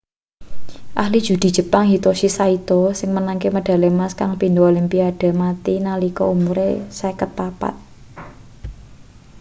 ahli judi jepang hitoshi saito sing menangke medali emas kaing pindo olimpiade mati nalika umure 54